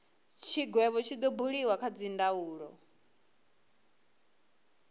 tshigwevho tshi do buliwa kha dzindaulo